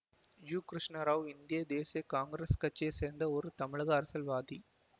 U Krishna Rao இந்திய தேசிய Congress கட்சியை சேர்ந்த ஒரு தமிழக அரசியல்வாதி